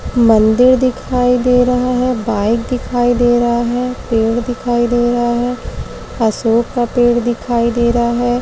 मंदिर दिखाई दे रहा है। बाइक दिखाई दे रहा है। पेड़ दिखाई दे रहा है। अशोक का पेड़ दिखाई दे रहा है।